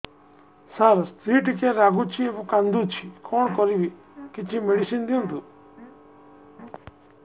ସାର ସ୍ତ୍ରୀ ଟିକେ ରାଗୁଛି ଏବଂ କାନ୍ଦୁଛି କଣ କରିବି କିଛି ମେଡିସିନ ଦିଅନ୍ତୁ